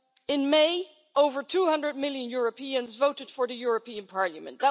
In May, over 200 million Europeans voted for the European Parliament.